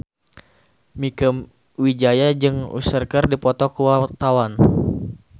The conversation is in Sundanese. Mieke Wijaya jeung Usher keur dipoto ku wartawan